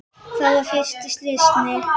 Það var fyrir slysni.